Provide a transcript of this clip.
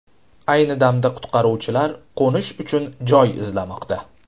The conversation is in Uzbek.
Ayni damda qutqaruvchilar qo‘nish uchun joy izlamoqda.